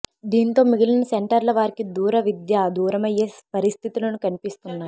దీంతో మిగిలిన సెంటర్ల వారికి దూర విద్య దూరమయ్యే పరిస్థితులు కన్పిస్తున్నాయి